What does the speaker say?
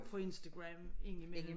Fra Instagram ind i mellem